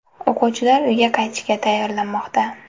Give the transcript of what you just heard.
O‘quvchilar uyga qaytishga tayyorlanmoqda.